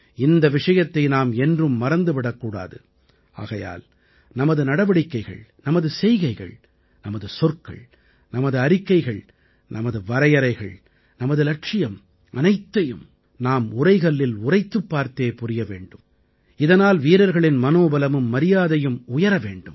இந்த விஷயத்தை நாம் என்றும் மறந்து விடக் கூடாது ஆகையால் நமது நடவடிக்கைகள் நமது செய்கைகள் நமது சொற்கள் நமது அறிக்கைகள் நமது வரையறைகள் நமது இலட்சியம் அனைத்தையும் நாம் உரைகல்லில் உரைத்துப் பார்த்தே புரிய வேண்டும் இதனால் வீரர்களின் மனோபலமும் மரியாதையும் உயர வேண்டும்